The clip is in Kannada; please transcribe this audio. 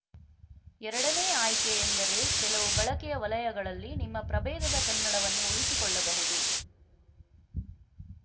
ಎರಡನೇ ಆಯ್ಕೆ ಎಂದರೆ ಕೆಲವು ಬಳಕೆಯ ವಲಯಗಳಲ್ಲಿ ನಿಮ್ಮ ಪ್ರಭೇದದ ಕನ್ನಡವನ್ನು ಉಳಿಸಿಕೊಳ್ಳಬಹುದು